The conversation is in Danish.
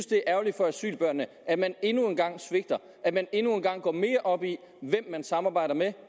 det er ærgerligt for asylbørnene at man endnu en gang svigter og at man endnu en gang går mere op i hvem man samarbejder med